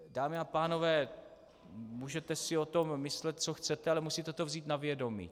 Dámy a pánové, můžete si o tom myslet, co chcete, ale musíte to vzít na vědomí.